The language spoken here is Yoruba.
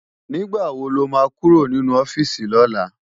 Nigbá wó ló má kúró ninú òfisi lòlá?